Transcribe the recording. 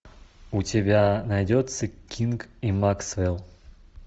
у тебя найдется кинг и максвелл